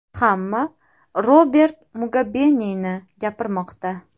Hamma Robert Mugabeni gapirmoqda.